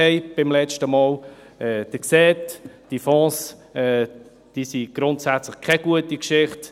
Sie sehen, diese Fonds sind grundsätzlich keine gute Geschichte.